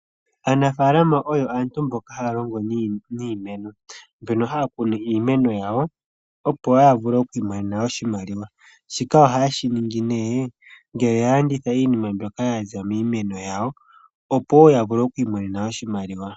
Aanafaalama oyo aantu mboka haya longo niimeno, mbono haya kunu iimeno yawo opo ya vule oku imonena oshimaliwa. Shika ohaye shi ningi nee ngele ya landitha iinima mbyoka ya za miimeno yawo opo ya vule oku imonena oshimaliwa.